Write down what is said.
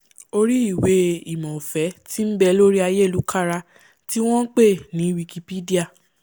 orí ìwé-ìmọ̀ ọ̀fẹ́ tí nbẹ lórí ayélukára tí wọ́n npè ní wikipedia